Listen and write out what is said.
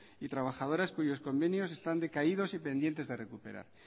y trabajadoras cuyos convenios están decaídos y pendientes de recuperar